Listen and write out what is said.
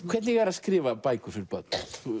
hvernig er að skrifa bækur fyrir börn